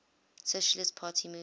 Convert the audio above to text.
socialist party moved